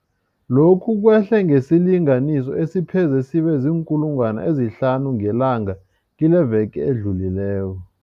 Lokhu kwehle ngesilinganiso esipheze sibe ziinkulungwana ezihlanu ngelanga kileveke edlulileko.